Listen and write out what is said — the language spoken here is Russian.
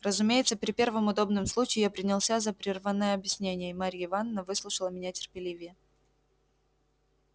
разумеется при первом удобном случае я принялся за прерванное объяснение и марья ивановна выслушала меня терпеливее